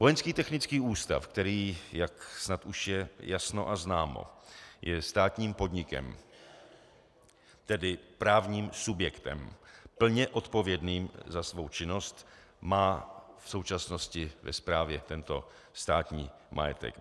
Vojenský technický ústav, který, jak snad už je jasno a známo, je státním podnikem, tedy právním subjektem plně odpovědným za svou činnost, má v současnosti ve správě tento státní majetek.